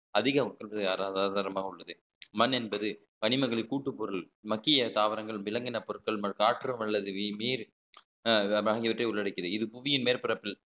அதிக உள்ளது மண் என்பது கனிமகிளை கூட்டுப்பொருள் மத்திய தாவரங்கள் விலங்கின பொருட்கள் காற்று அல்லது வீர் அஹ் ஆகியவற்றை உள்ளடக்கிது இது புவியின் மேற்பரப்பில்